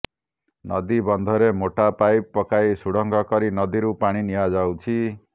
ନଦୀ ବନ୍ଧରେ ମୋଟା ପାଇପ୍ ପକାଇ ସୁଡଙ୍ଗ କରି ନଦୀରୁ ପାଣି ନିଆଯାଉଛି